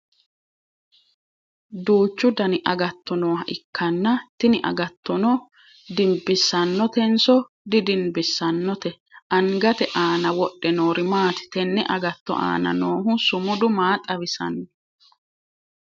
Duuchu Danni agatto nooha ikanna tinni agattono dibisanotenoso didinbisaannote? Angate aanna wodhe noori maati? Tene agatto aanna noohu sumudu maa xawisano?